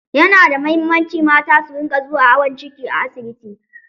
Ya nada muhimmanci mata sun rinƙa zuwa awon ciki a asibiti